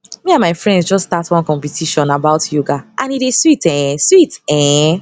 me and my friends just start one competition about yoga and e dey sweet[um]sweet ehn